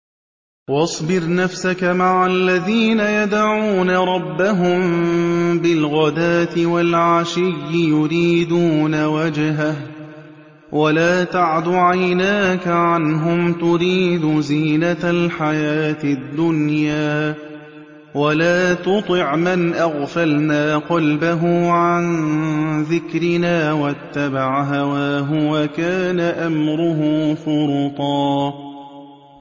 وَاصْبِرْ نَفْسَكَ مَعَ الَّذِينَ يَدْعُونَ رَبَّهُم بِالْغَدَاةِ وَالْعَشِيِّ يُرِيدُونَ وَجْهَهُ ۖ وَلَا تَعْدُ عَيْنَاكَ عَنْهُمْ تُرِيدُ زِينَةَ الْحَيَاةِ الدُّنْيَا ۖ وَلَا تُطِعْ مَنْ أَغْفَلْنَا قَلْبَهُ عَن ذِكْرِنَا وَاتَّبَعَ هَوَاهُ وَكَانَ أَمْرُهُ فُرُطًا